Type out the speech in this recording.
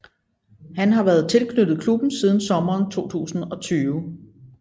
Han har været tilknyttet klubben siden sommeren 2020